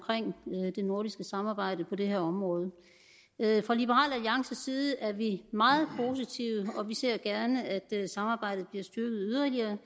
det nordiske samarbejde på det her område fra liberal alliances side er vi meget positive og vi ser gerne at samarbejdet bliver styrket yderligere